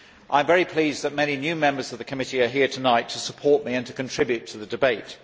I am very pleased that many new members of the committee are here tonight to support me and to contribute to the debate.